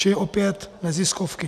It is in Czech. Čili opět neziskovky.